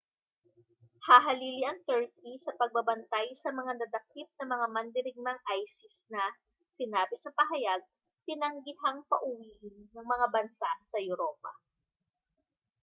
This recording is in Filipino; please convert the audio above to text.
hahalili ang turkey sa pagbabantay sa mga nadakip na mga mandirigmang isis na sinabi sa pahayag tinanggihang pauwiin ng mga bansa sa europa